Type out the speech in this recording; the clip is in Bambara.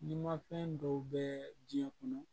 Nin ma fɛn dɔw bɛ diɲɛ kɔnɔ